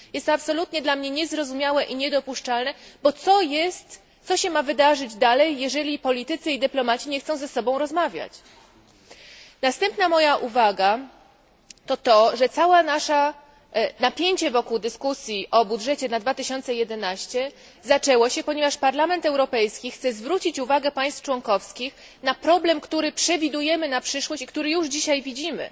Jest to absolutnie dla mnie niezrozumiałe i niedopuszczalne, bo co się ma wydarzyć dalej, jeżeli politycy i dyplomaci nie chcą ze sobą rozmawiać? Następna moja uwaga to to, że napięcie wokół dyskusji o budżecie na rok 2011 zaczęło się, ponieważ Parlament Europejski chce zwrócić uwagę państw członkowskich na problem, który przewidujemy na przyszłość i który już dzisiaj widzimy